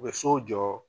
U bɛ so jɔ